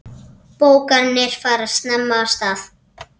Bókanir fara snemma af stað.